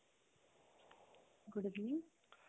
good evening